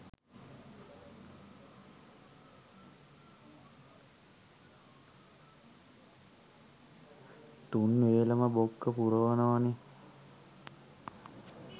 තුන් වේලම බොක්ක පුරවනවනෙ